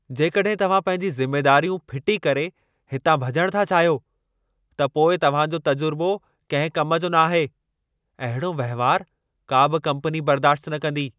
जेकॾहिं तव्हां पंहिंजी ज़िमेदारियूं फिटी करे हितां भॼणु था चाहियो, त पोइ तव्हां जो तजुर्बो कंहिं कम जो न आहे। अहिड़ो वहिंवारु का बि कम्पनी बर्दाश्त न कंदी।